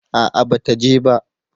A'a ba ta je ba